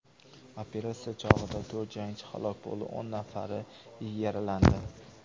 Operatsiya chog‘ida to‘rt jangchi halok bo‘ldi, o‘n nafari yaralandi.